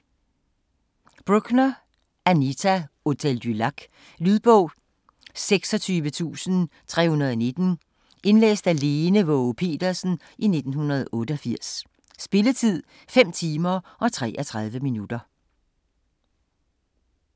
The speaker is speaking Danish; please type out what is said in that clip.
Brookner, Anita: Hotel du Lac Lydbog 26319 Indlæst af Lene Waage Petersen, 1988. Spilletid: 5 timer, 33 minutter.